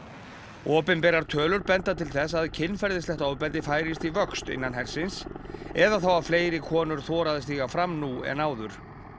opinberar tölur benda til þess að kynferðislegt ofbeldi færist í vöxt innan hersins eða þá að fleiri konur þora að stíga fram nú en áður